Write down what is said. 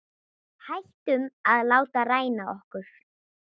Hættum að láta ræna okkur.